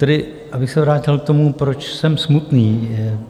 Tedy abych se vrátil k tomu, proč jsem smutný.